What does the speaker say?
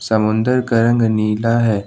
समुद्र का रंग नीला है।